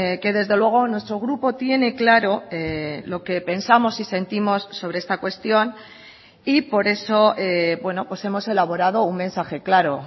que desde luego nuestro grupo tiene claro lo que pensamos y sentimos sobre esta cuestión y por eso hemos elaborado un mensaje claro